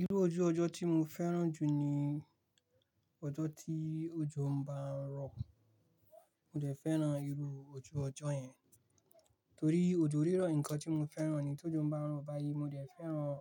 Irú ojú ọjọ́ tí mo fẹ́ràn jù ni ọjọ́ tí òjò ń bá ń rọ̀. Mo dẹ̀ fẹ́ràn irú ojú ọjọ́ yẹn torí òjò rírọ̀ nǹkan tí mo fẹ́ràn ni. Tójò ń báń rọ̀ báyìí mo dẹ̀ fẹ́ràn